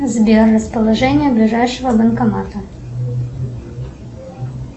сбер расположение ближайшего банкомата